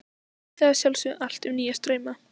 Vita að sjálfsögðu allt um nýja strauma.